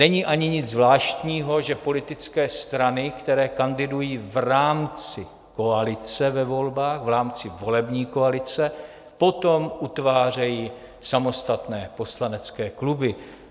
Není ani nic zvláštního, že politické strany, které kandidují v rámci koalice ve volbách, v rámci volební koalice, potom utvářejí samostatné poslanecké kluby.